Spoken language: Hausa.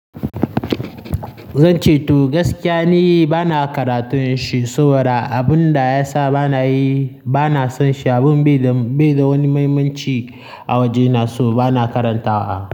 Zan ce to gaskiya ni bana karatun shi saboda abun da ya sa bana yi, bana son shi abun bai da, bai da wani mahimmanci a wajena so bana karanta wa.